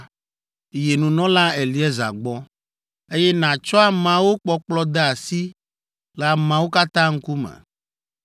yi nunɔla Eleazar gbɔ, eye nàtsɔ ameawo kpɔkplɔ de esi le ameawo katã ŋkume.